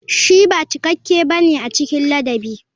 Shi ba cikakke ba ne a cikin ladabi.